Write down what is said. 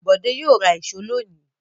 Bọ̀dé yóò ra ìṣó lónìí.